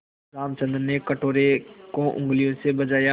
रामचंद्र ने कटोरे को उँगलियों से बजाया